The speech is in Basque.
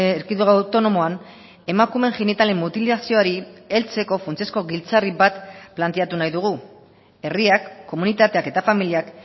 erkidego autonomoan emakumeen genitalen mutilazioari heltzeko funtsezko giltzarri bat planteatu nahi dugu herriak komunitateak eta familiak